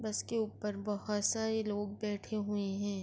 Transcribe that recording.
بس کے اپر بھوت سارے لوگ بیٹھے ہوئے ہے۔